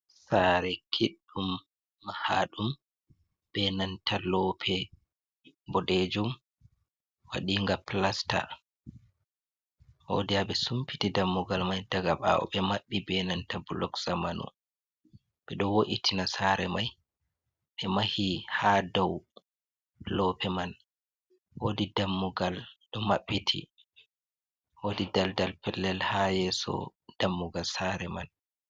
Sare kiɗɗum mahaɗum be nanta lope boɗejum waɗinga plasta wodi haɓe sumpiti dammugal mai daga bawo ɓe mabbi be nanta blok zamanu, ɓeɗo wo’itina sare mai ɓe mahi ha dau lope man wodi dammugal ɗo maɓɓiti wodi daldal pellel ha yeso dammugal sare man.